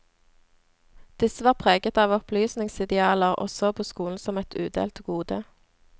Disse var preget av opplysningsidealer, og så på skolen som et udelt gode.